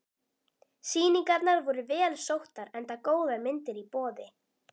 Sýningarnar voru vel sóttar enda góðar myndir í boði.